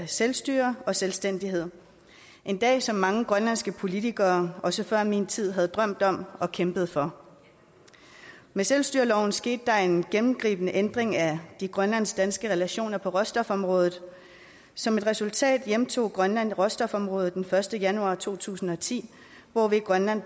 selvstyre og selvstændighed en dag som mange grønlandske politikere også før min tid havde drømt om og kæmpet for med selvstyreloven skete der en gennemgribende ændring af de grønlandsk danske relationer på råstofområdet som et resultat hjemtog grønland råstofområdet den første januar to tusind og ti hvorved grønland